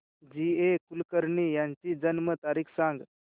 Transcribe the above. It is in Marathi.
जी ए कुलकर्णी यांची जन्म तारीख सांग